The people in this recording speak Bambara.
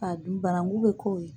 K'a dun banangu bɛ k'o ye.